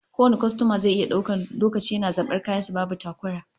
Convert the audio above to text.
Kowane kwastoma zai iya daukan lokaci yana zaban kayan sa babu takura